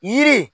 Yiri